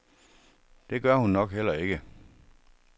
Det gør hun nok heller ikke.